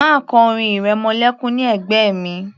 Má kọ orin ìrẹmọlékún ní ẹ̀gbẹ́ mi